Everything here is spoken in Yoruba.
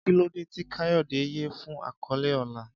Kí ló dé tí Kayode yẹ fún àkọlé ọlá?